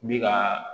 Bi ka